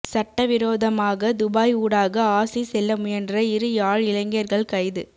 சட்டவிரோதமாக துபாய் ஊடாக ஆஸி செல்ல முயன்ற இரு யாழ் இளைஞர்கள் கைது